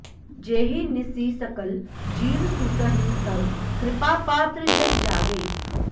जेहि निसि सकल जीव सूतहिं तव कृपापात्र जन जागै